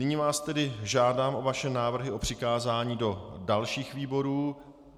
Nyní vás tedy žádám o vaše návrhy na přikázání do dalších výborů.